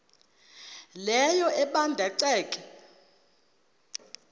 leyo ebanda ceke